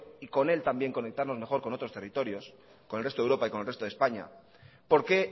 y con él también conectarnos con otros territorios con el resto de europa y con el resto de españa por qué